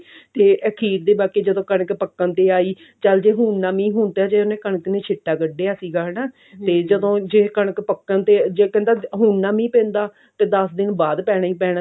ਤੇ ਅਖੀਰ ਤੇ ਬਾਕੀ ਜਦੋਂ ਕਣਕ ਪੱਕਣ ਤੇ ਆਈ ਚਲ ਜੇ ਹੁਣ ਨਾ ਮੀਹ ਹੁਣ ਤੇ ਹਜੇ ਉਹਨੇ ਕਣਕ ਨੇ ਛੀਟਾ ਸੀਗਾ ਹਨਾ ਜੇ ਕਣਕ ਪੱਕਣ ਤੇ ਜੇ ਕਹਿੰਦਾ ਹੁਣ ਨਾ ਮੀਹ ਪੈਂਦਾ ਤੇ ਦਸ ਦਿਨ ਬਾਅਦ ਪੈਣਾ ਹੀ ਪੈਣਾ ਸੀ